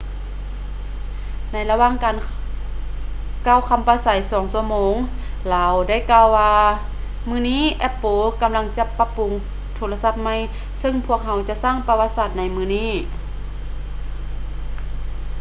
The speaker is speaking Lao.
ໃນລະຫວ່າງການກ່າວຄຳປາໄສ 2 ຊົ່ວໂມງ ລາວໄດ້ກ່າວວ່າ ມື້ນີ້ apple ກຳລັງຈະປັບປຸງໂທລະສັບໃໝ່ ເຊິ່ງພວກເຮົາຈະສ້າງປະຫວັດສາດໃນມື້ນີ້